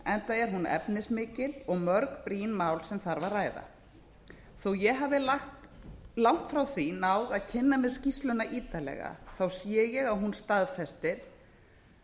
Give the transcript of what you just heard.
enda er hún efnismikil og mörg brýn mál sem þarf að ræða þó að ég hafi langt frá því náð að kynna mér skýrsluna ítarlega sé ég að hún staðfestir